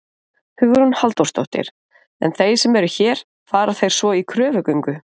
Hugrún Halldórsdóttir: En þeir sem eru hér, fara þeir svo í kröfugöngu?